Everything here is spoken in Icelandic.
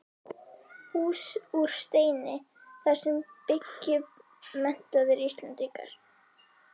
Hús úr steini, þar sem byggju menntaðir Íslendingar.